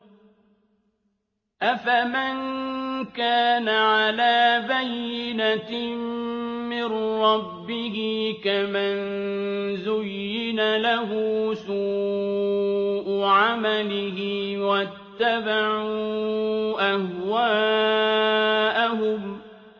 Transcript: أَفَمَن كَانَ عَلَىٰ بَيِّنَةٍ مِّن رَّبِّهِ كَمَن زُيِّنَ لَهُ سُوءُ عَمَلِهِ وَاتَّبَعُوا أَهْوَاءَهُم